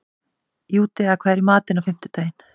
Júdea, hvað er í matinn á fimmtudaginn?